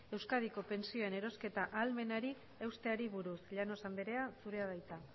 euskadiko pentsioen eroste ahalmenari eusteari buruz llanos andrea zurea da hitza